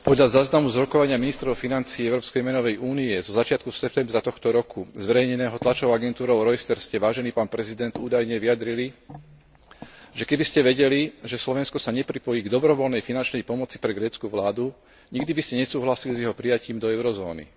Podľa záznamu z rokovania ministrov financií Európskej menovej únie zo začiatku septembra tohto roku zverejneného tlačovou agentúrou Reuters ste, vážený pán prezident, údajne vyjadrili, že keby ste vedeli, že Slovensko sa nepripojí k dobrovoľnej finančnej pomoci pre grécku vládu, nikdy by ste nesúhlasili s jeho prijatím do eurozóny.